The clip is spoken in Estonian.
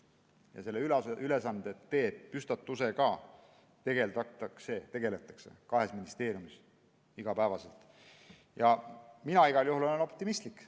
Ja ülesande püstitusega tegeldakse, tegeldakse kahes ministeeriumis iga päev ja mina igal juhul olen optimistlik.